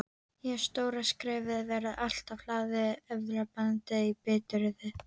Og stóra skrefið verði alltaf hlaðið efablandinni biturð.